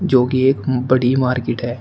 जो कि एक बड़ी मार्केट है।